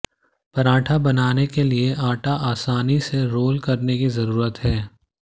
पराठा बनाने के लिए आटा आसानी से रोल करने की जरूरत है